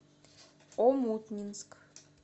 омутнинск